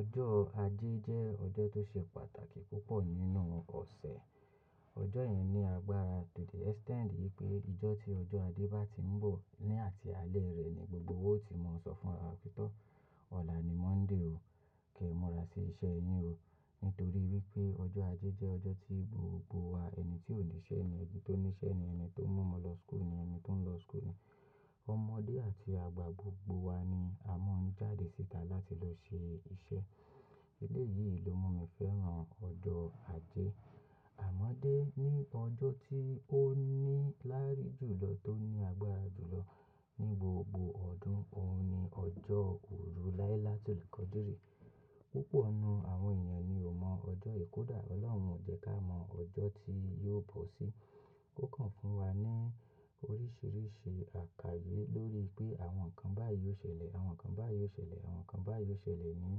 Ọjọ́ ajé jẹ́ ọjọ́ tó ṣe pàtàkì púpọ̀ nínú ọ̀sẹ̀. Ọjọ́ yẹn ní agbára to the extent wí pé ijọ́ tí ọjọ́ ajé bá ti ń bọ̀ ní àti alẹ́ rẹ̀ ni gbogbo wa ò ti mọ̀ sọ fún ara wa wípé ọ̀la ni Monday o, kí ẹ múra sí iṣẹ́ yín o. Nítorí wí pé ọjọ́ ajé jẹ́ ọjọ́ tí gbogbo wa, ẹni tí ò ní iṣẹ́ ni ẹni tó ní iṣẹ́ ni ẹni tó mú ọmọ lọ school ni ẹni tó ń lọ school ni ọmọdé àti àgbà gbogbo wa ni a mọ́n jáde síta láti lọ ṣe iṣẹ́. Èléyìí ló mú mi fẹ́ràn ọjọ́ ajé. Àmọ́dé ní ọjọ́ tí ó ní lárí jùlọ tó ní agbára jùlọ ní gbogbo ọdún, òun ni ọjọ́ òru láíláá tul kadri. Púpọ̀ nínú àwọn èèyàn ni ò mọ ọjọ́ kódà. Ọlọ́run jẹ́ ká mọ ọjọ́ tí yóò bọ́ sí. Ó kàn fún wa ní oríṣìíríṣìí àlàyé lórí pé àwọn nǹkan báyìí ó ṣẹlẹ̀, àwọn nǹkan báyìí ó ṣẹlẹ̀, àwọn nǹkan báyìí ó ṣẹlẹ̀ ní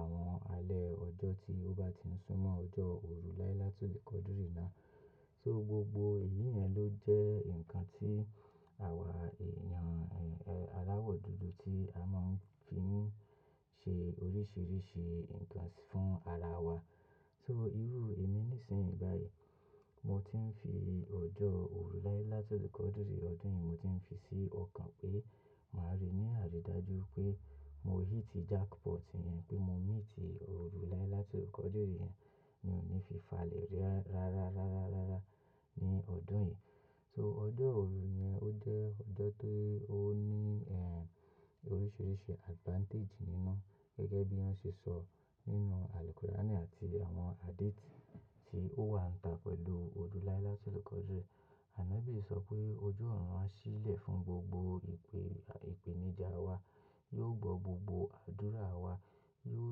àwọn alẹ́ ọjọ́ tí ó bá ti ń súnmọ́ ọjọ́ òru láíláá tul kadri náà. So gbogbo èyí yẹn ló jẹ́ nǹkan tí àwa èèyàn, eh, aláwọ̀ dúdú tí a máa ń fi ṣe oríṣìíríṣìí nǹkan fún ara wa. So irú èmi nísìnyí báyìí, mo ti ń fi ọjọ́ òru láíláá tul kadri ọdún yìí, mo ti ń fi sí ọkàn pé màá rí ní àrídájú pé mo ò híti jackpot yẹn pé mo miss òru láíláá tul kadri yẹn. Mi ní fi falẹ̀ rí rárá, rárá, rárá ní ọdún yìí. So ọjọ́ òru yẹn ó jẹ́ ọjọ́ tó ní, eh, oríṣìíríṣìí advantage nínú gẹ́gẹ́ bí wọ́n ṣe sọ nínú àlùkurani àti àwọn hadithi tí ó wà níta pẹ̀lú òru láíláá tul kadri. Anabi sọ pé ojú ọ̀run á ṣí lẹ̀ fún gbogbo ìpè, ìpèníjà wa. Yóò gbọ́ gbogbo àdúrà wa, yóò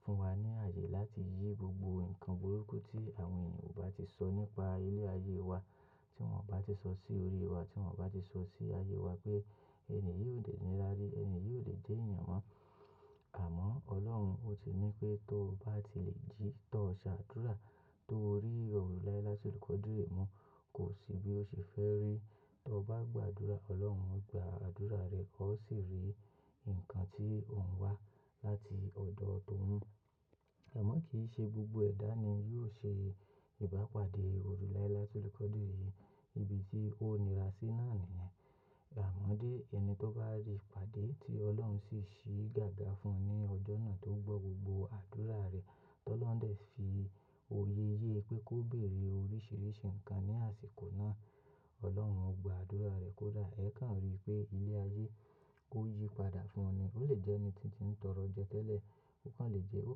fún wa ní ààyè láti yí gbogbo nǹkan burúkú tí àwọn ènìyàn bá ti sọ nípa ilé ayé wa, tí wọ́n bá ti sọ sí orí wa, tí wọ́n bá ti sọ sí ayé wa pé ẹni yìí ò lè ní lárí, ẹni yìí ò lè jẹ́ èèyàn mọ́. Àmọ́ Ọlọ́run ó ti ní pé tó bá ti lè jí, tó o ṣe àdúrà, tó o rí òru láíláá tul kadri ná, kò sí bí ó ṣe fẹ́ rí. Tó o bá gba àdúrà, Ọlọ́run gba àdúrà rẹ, ó sì rí nǹkan tí òun wá láti ọ̀dọ̀ òun. Àmọ́ kì í ṣe gbogbo ẹ̀dá ni yóò ṣe ìbápadé òru láíláá tul kadri yìí ibi tí ó nira sí náà nìyẹn. Àmọ́dé ẹni tó bá rí ìpàdé tí Ọlọ́run sì ṣí gágá fún un ní ọjọ́ náà tó gbọ́ gbogbo àdúrà rẹ̀, tí olóhun dẹ̀ fi oyé yé pé kó béèrè oríṣìíríṣìí nǹkan ní àsìkò náà. Ọlọ́run ó gba àdúrà rẹ̀ kódà, ẹ́ kàn rí pé ilé ayé ó yípadà fún un ni. Ó lè jẹ́ ẹni tí ń tọrọ jẹ tẹ́lẹ̀, ó kàn lè jẹ́, ó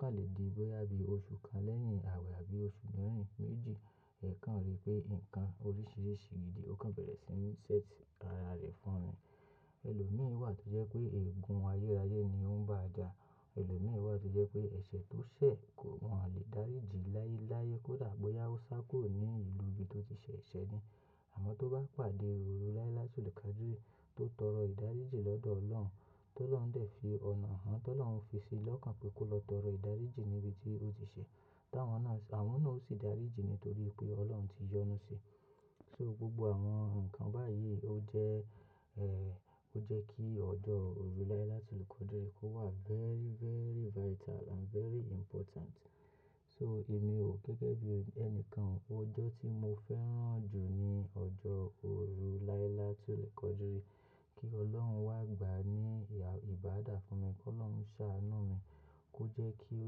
kàn lè di bóyá bí oṣù kan lẹ́yìn àwẹ̀ àbí oṣù mẹ́rin, méjì. Ẹ́ kàn rí pé nǹkan oríṣìíríṣìí gidi ó kàn bẹ̀rẹ̀ sí ń set ara rẹ̀ fún un. Ẹlòmíì wà tó jẹ́ pé ègún ayérayé ni ó ń bá ajà. Ẹlòmíì wà tó jẹ́ pé ẹ̀ṣẹ̀ tó ṣẹ̀ kò mọ̀ lè dáríji láyeláyé kó dà bóyá ó sá kúrò ní ìlú ibi tó ti ṣẹ̀ ẹ̀ṣẹ̀ ni. Àmọ́ tó bá pàdé òru láíláá tul kadri tó tọrọ ìdáríji lọ́dọ̀ Ọlọ́run, tí ọlọ́run dẹ̀ fi ọ̀nà hàn, tí ọlọ́run fi sí i lọ́kàn pé kó lọ tọrọ ìdáríji níbi tí ó ti ṣe. Táwọn náà, àwọn náà ó sì dáríji nítorí pé Ọlọ́run ti yọnu si. So gbogbo àwọn nǹkan báyìí ó jẹ́, eh, ó jẹ́ kí ọjọ́ òru láíláá tul kadri kó wà very, very vital and very important. So èmi ò gẹ́gẹ́ bí ẹnikan, ọjọ́ tí mo fẹ́ràn jù ni ọjọ́ òru láíláá tul kadri. Kí Ọlọ́run wá gbà á ní ìbàdà fún mi, kó ọlọ́run ṣá anú mi, kó jẹ́ kí ó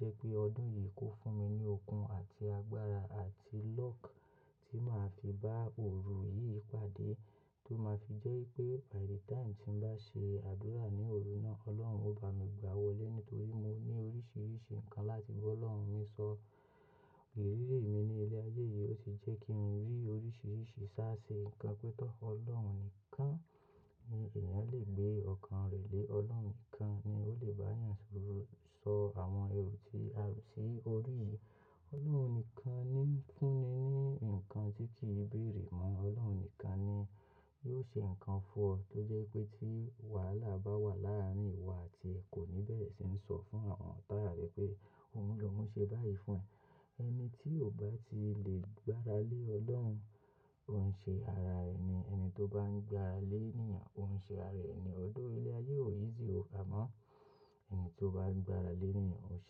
jẹ́ pé ọdún yìí kó fún mi ní okun àti agbára àti luck tí màá fi bá òru yìí pàdé, tó máa fi jẹ́ wípé by the time tí ń bá ṣe àdúrà ní òru náà, Ọlọ́run ó bá mi gbà wọlé nítorí mo ní oríṣìíríṣìí nǹkan láti bá ọlọ́run mi sọ. Ìrírí mi ní ilé ayé yìí ó ti jẹ́ kí ń rí oríṣìíríṣìí ṣá ṣe nǹkan pé tó Ọlọ́run nìkan ni èèyàn lè gbé ọkàn rẹ̀ lé. Ọlọ́run nìkan ni ó lè bá èèyàn sọ àwọn èrò tí a rò sí orí yìí. Ọlọ́run nìkan ni fún ni ní nǹkan tí kì í bèèrè mọ́. Ọlọ́run nìkan ni yóò ṣe nǹkan fún ọ tó jẹ́ pé tí wàhálà bá wà láàárín ìwọ àti ẹ, kò ní bẹ̀rẹ̀ sí ń sọ fún àwọn tààrà rẹ pé ohun lohun ṣe báyìí fún ẹ. Ẹni tí ò bá ti lè gbára lé Ọlọ́run, ó ń ṣe ara ẹni. Ẹni tó bá ń gbára lé ènìyàn, ó ń ṣe ara ẹni. Although ilé ayé ò easy o. Àmọ́ ẹni tó bá ń gbára lé ènìyàn, ó ṣe é.